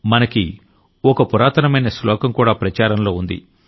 మనకి ఓ పురాతనమైన శ్లోకం కూడా ప్రచారంలో ఉంది